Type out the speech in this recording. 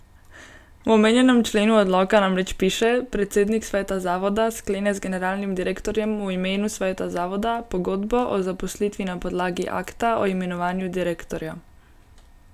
V omenjenem členu odloka namreč piše: 'Predsednik sveta zavoda sklene z generalnim direktorjem v imenu sveta zavoda pogodbo o zaposlitvi na podlagi akta o imenovanju direktorja.